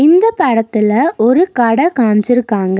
இந்த படத்துல ஒரு கட காம்ச்சிருக்காங்க.